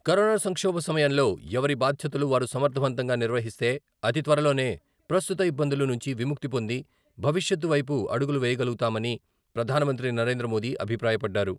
Corona సంక్షోభ సమయంలో ఎవరి బాధ్యతలు వారు సమర్థవంతంగా నిర్వహిస్తే అతి త్వరలోనే ప్రస్తుత ఇబ్బందుల నుంచి విముక్తి పొంది భవిష్యత్తు వైపు అడుగులు వేయగలుగుతామని ప్రధానమంత్రి నరేంద్ర మోదీ అభిప్రాయపడ్డారు.